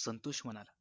संतोष म्हणाला